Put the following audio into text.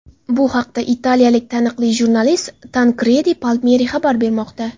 Bu haqda italiyalik taniqli jurnalist Tankredi Palmeri xabar bermoqda .